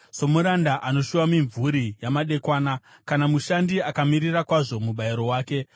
Somuranda anoshuva mimvuri yamadekwana, kana mushandi akamirira kwazvo mubayiro wake,